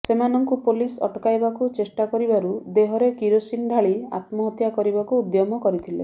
ସେମାନଙ୍କୁ ପୋଲିସ ଅଟକାବୁ ଚେଷ୍ଟା କରିବାରୁ ଦେହରେ କିରୋସିନ ଢାଳି ଆତ୍ମହତ୍ୟା କରିବାକୁ ଉଦ୍ୟମ କରିଥିଲେ